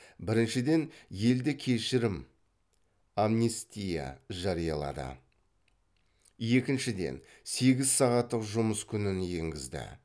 біріншіден елде кешірім жариялады екіншіден сегіз сағаттық жұмыс күнін енгізді